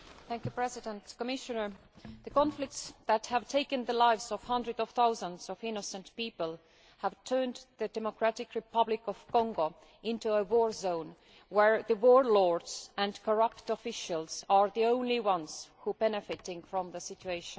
Mr President, Commissioner, the conflicts which have taken the lives of hundreds of thousands of innocent people have turned the Democratic Republic of Congo into a war zone where warlords and corrupt officials are the only ones benefiting from the situation.